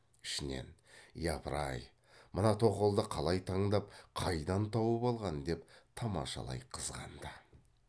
ішінен япыр ай мына тоқалды қалай таңдап қайдан тауып алған деп тамашалай қызғанды